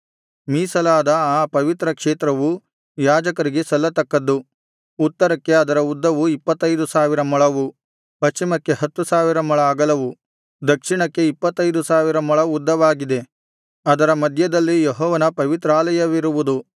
ಮೀಸಲಾದ ಆ ಪವಿತ್ರ ಕ್ಷೇತ್ರವು ಯಾಜಕರಿಗೆ ಸಲ್ಲತಕ್ಕದ್ದು ಉತ್ತರಕ್ಕೆ ಅದರ ಉದ್ದವು ಇಪ್ಪತ್ತೈದು ಸಾವಿರ ಮೊಳವು ಪಶ್ಚಿಮಕ್ಕೆ ಹತ್ತು ಸಾವಿರ ಮೊಳ ಅಗಲವು ದಕ್ಷಿಣಕ್ಕೆ ಇಪ್ಪತ್ತೈದು ಸಾವಿರ ಮೊಳ ಉದ್ದವಾಗಿದೆ ಅದರ ಮಧ್ಯದಲ್ಲಿ ಯೆಹೋವನ ಪವಿತ್ರಾಲಯವಿರುವುದು